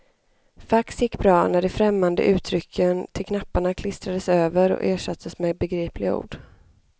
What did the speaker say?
Fax gick bra när de främmande uttrycken till knapparna klistrades över och ersattes med begripliga ord.